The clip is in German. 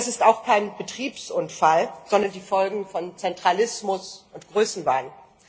Das ist auch kein Betriebsunfall, sondern die Folge von Zentralismus und Größenwahn.